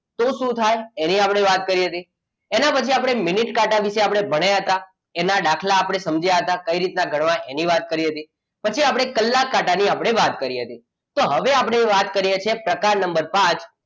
તો શું થાય તે આપણે વાત કરી હતી એના પછી આપણે મિનિટ કાંટા વિશે ભણ્યા હતા એના દાખલા આપણે સમજ્યા હતા કઈ રીતે ગણવા એની વાત કરી હતી પછી આપણે કલાક કાંટાની આપણે વાત કરી હતી તો હવે આપણે વાત કરીએ છીએ પ્રકાર નંબર પાંચ.